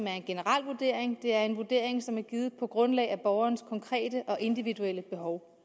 er en generel vurdering er en vurdering som er givet på grundlag af borgerens konkrete og individuelle behov